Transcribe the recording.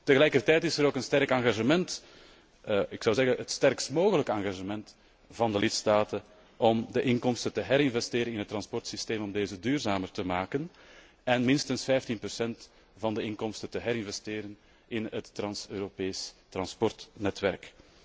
Tegelijkertijd is er ook een sterk engagement, het sterkst mogelijke engagement, van de lidstaten om de inkomsten te herinvesteren in het transportsysteem teneinde dit duurzamer te maken en minstens 15 procent van de inkomsten te herinvesteren in het trans Europees transportnetwerk.